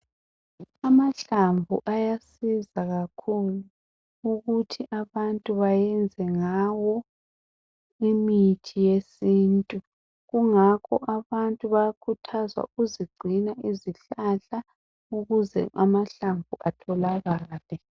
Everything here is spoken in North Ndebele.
Amahlamvu ayasiza kakhulu ukuthi abantu bayenze ngawo imithi yesintu kungakho abantu bayakhuthazwa ukuzigcina izihlahla ukuze amahlamvu atholakale.